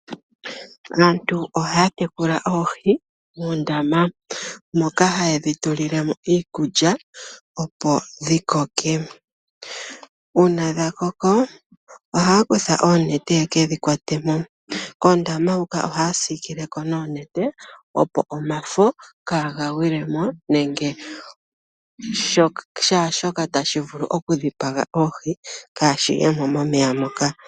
Aantu ohaya tekula oohi muundama, moka haye dhi tulile mo iikulya opo dhi koke. Uuna dha koko ohaya kutha oonete yekedhi kwatemo, koondama hoka ohaya siikileko noonete, opo omafo kaaga gwilemo nenge shaashoka tashi vulu oku dhipaga oohi kaashi yemo momeya moka.